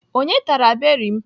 Onye tara beri m?